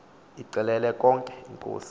yixelele konke inkosi